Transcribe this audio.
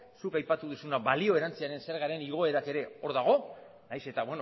zuk aipatu duzuna balio erantsiaren zergaren igoera ere hor dago nahiz eta